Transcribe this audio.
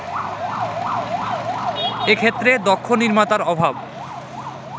এক্ষেত্রে দক্ষ নির্মাতার অভাব